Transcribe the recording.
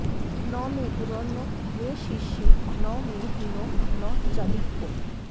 ন মে গুরুর্ন মে শিষ্যো ন মে হীনো ন চাধিকঃ